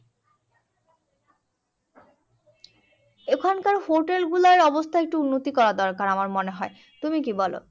ওখানকার hotel গুলোর অবস্থা একটু উন্নতি করা দরকার আমার মনে হয়। তুমি কি বলো?